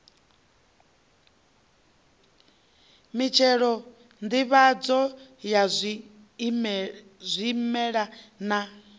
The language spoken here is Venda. mitshelo nḓivhadzo ya zwimela na